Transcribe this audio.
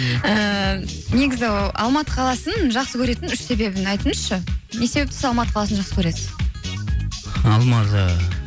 ыыы негізі алматы қаласын жақсы көретін үш себебін айтыңызшы не себепті сіз алматы қаласын жақсы көресіз алматы